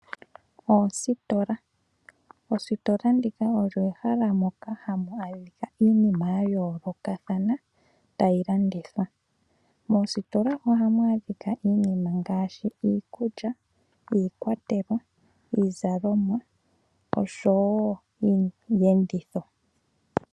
Oositola, Oositola dhika odho ehala hamu adhika iinima ya yoolokathana tayi landithwa, moositola ohamu adhika iinima ngaashi iikulya, iikwatelwa, iizalomwa oshowo iiyenditho